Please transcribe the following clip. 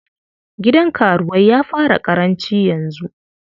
Gidan karuwai ya fara ƙaranci yanzu.